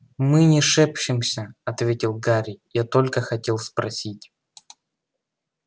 мы не шепчемся ответил гарри я только хотел спросить